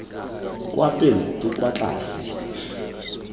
kwa pele bo kwa tlase